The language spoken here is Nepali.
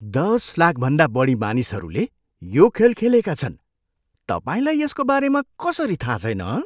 दस लाखभन्दा बढी मानिसहरूले यो खेल खेलेका छन्। तपाईँलाई यसको बारेमा कसरी थाहा छैन हँ?